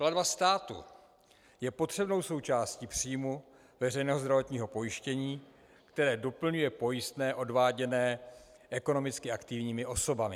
Platba státu je potřebnou součástí příjmu veřejného zdravotního pojištění, které doplňuje pojistné odváděné ekonomicky aktivními osobami.